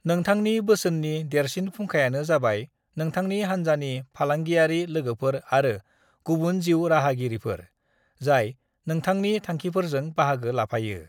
नोंथांनि बोसोननि देरसिन फुंखायानो जबाय नोंथांनि हान्जानि फालांगियारि लोगोफोर आरो गुबुन जिउ राहागिरिफोर, जाय नोंथांनि थांखिफोरजों बाहागो लाफायो।